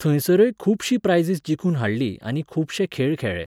थंयसरय खुबशीं प्रायझीस जिखून हाडलीं आनी खुबशे खेळ खेळ्ळे.